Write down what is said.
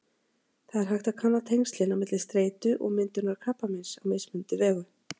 Það er hægt að kanna tengslin á milli streitu og myndunar krabbameins á mismunandi vegu.